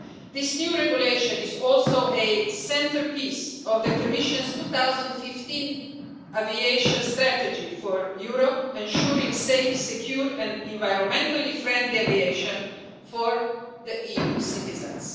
This new regulation is also a centrepiece of the Commission's 2015 aviation strategy for Europe, ensuring safe, secure and environmentally friendly aviation for EU citizens.